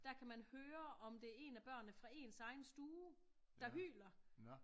Der kan man høre om det er en af børnene fra ens egen stue der hyler